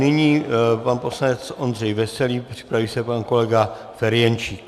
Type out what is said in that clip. Nyní pan poslanec Ondřej Veselý, připraví se pan kolega Ferjenčík.